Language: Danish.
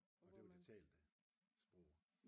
Og det var det talte sprog